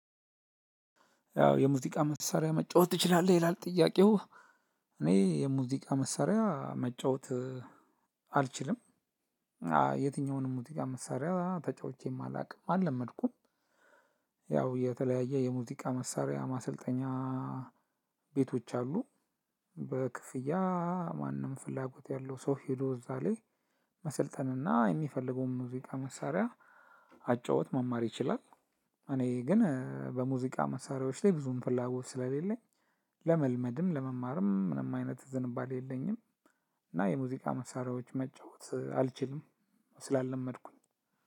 ያው የሙዚቃ መሳሪያ መጫወት ትችላለህ ይላል ጥያቄው? እኔ የሙዚቃ መሳሪያ መጫወት አልችልም። የትኛውንም ሙዝቃ መሳሪያ ተጫውቼም አላውቅም አልለመድኩም። ያው የተለያየ የሙዚቃ መሳሪያ ማሰልጠኛ ቤቶች አሉ። በክፍያ ማንም ፍላጎት ያለው ሰው ሄዶ እዛ ላይ መሰልጠንና የሚፈልገውን ሙዚቃ መሳሪያ መጫወት መማር ይችላል። እኔ ግን በሙዚቃ መሳሪያዎች ላይ ብዙም ፍላጎት ስለሌለኝ ለመልመድም ለመማርም ምንም አይነት ዝንባሌ የለኝም። እና የሙዚቃ መሳሪያዎች መጫወት አልችልም ስላልለመድኩኝ